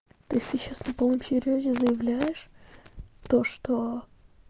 ты сейчас на полном серьёзе заявляешь то что